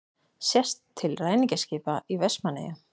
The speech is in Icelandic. Sést til ræningjaskipa í Vestmannaeyjum.